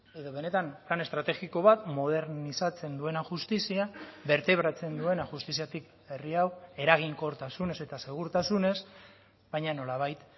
edo benetan lan estrategiko bat modernizatzen duena justizia bertebratzen duena justiziatik herri hau eraginkortasunez eta segurtasunez baina nolabait